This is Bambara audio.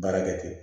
Baara kɛ ten